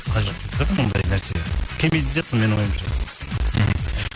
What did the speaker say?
ондай нәрселер келмейтін сияқты менің ойымша мхм